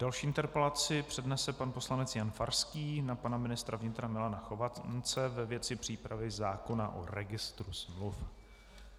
Další interpelaci přednese pan poslanec Jan Farský na pana ministra vnitra Milana Chovance ve věci přípravy zákona o registru smluv.